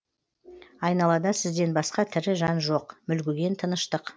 айналада сізден басқа тірі жан жоқ мүлгіген тыныштық